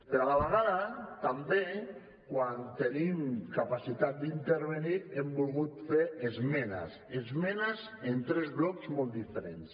però a la vegada també quan tenim capacitat d’intervenir hem volgut fer esmenes esmenes a tres blocs molt diferents